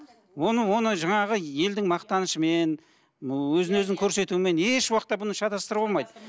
оны оны жаңағы елдің мақтанышымен ы өзін өзін көрсетумен еш уақытта бұны шатастыруға болмайды